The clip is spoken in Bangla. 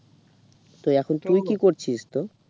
তো এখন তুই কি করছিস